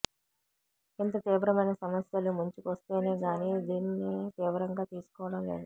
ఇంత తీవ్రమైన సమస్యలు ముంచుకొస్తేనేగానీ దీన్ని తీవ్రంగా తీసుకోవటం లేదు